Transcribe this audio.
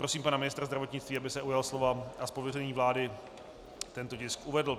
Prosím pana ministra zdravotnictví, aby se ujal slova a z pověření vlády tento tisk uvedl.